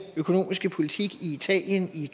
økonomiske politik i italien i